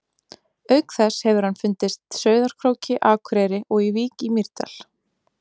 Auk þess hefur hann fundist Sauðárkróki, Akureyri og í Vík í Mýrdal.